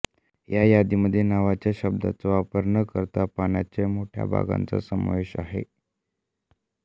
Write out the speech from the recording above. या यादीमध्ये नावाच्या शब्दाचा वापर न करता पाण्याचे मोठ्या भागांचा समावेश आहे